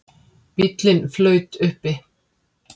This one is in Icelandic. Bíllinn flaut uppi